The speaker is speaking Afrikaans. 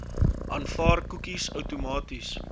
aanvaar koekies outomaties